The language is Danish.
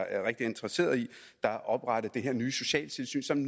er rigtig interesseret i der er oprettet det nye socialtilsyn som